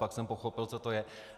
Pak jsem pochopil, co to je.